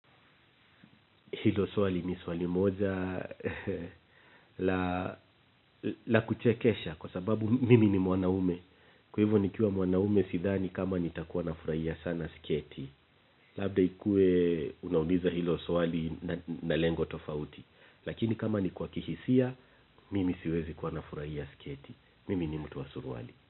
Hilo swali ni swali moja, la kuchekesha kwa sababu mimi ni mwanaume. Kwa hivo nikiwa mwanaume sidhani kama nitakuwa nafurahia sana siketi. Labda ikue unauliza hilo swali na lengo tofauti. Lakini kama ni kwa kihisia, mimi siwezi kuwa nafuraia siketi. Mimi ni mtu wa suruali.